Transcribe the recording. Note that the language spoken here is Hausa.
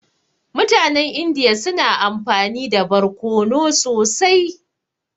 Mutanen Indiya suna amfani da barkono sosai.